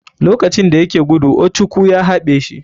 Lokacin dayake gudu ochukwu ya haɓe shi.